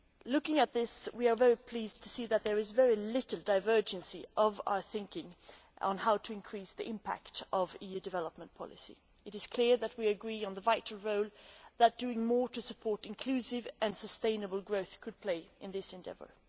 Looking at this, we are very pleased to see that there is very little divergence in our thinking on how to increase the impact of EU development policy. It is clear that we agree on the vital role that doing more to support inclusive and sustainable growth could play in this endeavour.